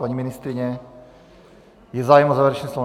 Paní ministryně, je zájem o závěrečné slovo?